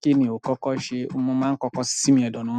ki ni o koko se. Mo máa n kọ́kọ́ sinmi ẹ̀dọ na.